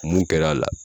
Mun kɛra a la